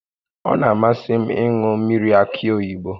Ọ na-amasị m ịṅụ mmiri akị oyibo